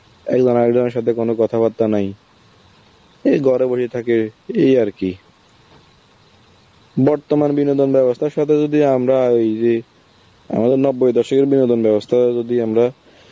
জনের সাথে কোনো কথাবার্তা নাই, এই থাকে এই আর কি. বর্তমান বিনোদন ব্যবস্থা সাথে যদি আমরা ওই যে আমাদের নব্বই দশকের বিনোদন ব্যবস্থা যদি আমরা